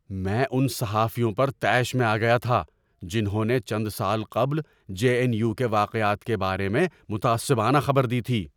میں ان صحافیوں پر طیش میں آ گیا تھا جنہوں نے چند سال قبل جے این یو کے واقعات کے بارے میں متعصبانہ خبر دی تھی۔